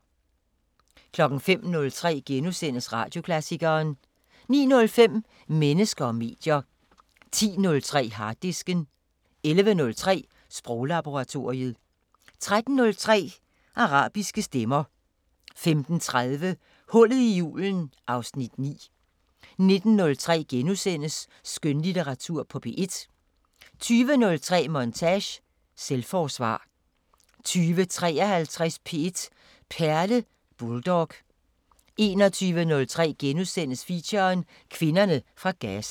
05:03: Radioklassikeren * 09:05: Mennesker og medier 10:03: Harddisken 11:03: Sproglaboratoriet 13:03: Arabiske Stemmer 15:30: Hullet i julen (Afs. 9) 19:03: Skønlitteratur på P1 * 20:03: Montage: Selvforsvar 20:53: P1 Perle: Bulldog 21:03: Feature: Kvinderne fra Gaza *